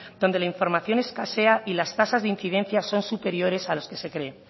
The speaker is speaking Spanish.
donde la información escasea y las tasas de incidencias son superiores a los que se cree